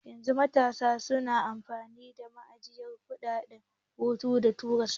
Yanzu matasa suna amfani da manhajar ɗaukan hoto da tura sakonni